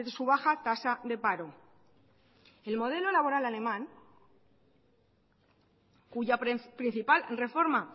su baja tasa de paro el modelo laboral alemán cuya principal reforma